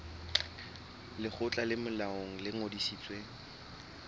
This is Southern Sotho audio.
lekgotla le molaong le ngodisitsweng